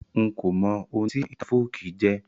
N ko mọ oun tí àwon ìtàn folkí jẹ́